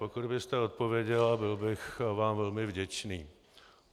Pokud byste odpověděla, byl bych vám velmi vděčný.